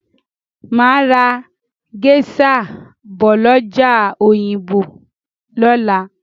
Màá ra géṣà bọ̀ lọ́jà Òyìngbò lọ́la.